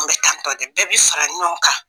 Anw bɛ tan tɔ de, bɛɛ bɛ fara ɲɔgɔn kan!